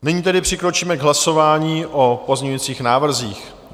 Nyní tedy přikročíme k hlasování o pozměňujících návrzích.